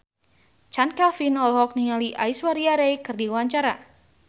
Chand Kelvin olohok ningali Aishwarya Rai keur diwawancara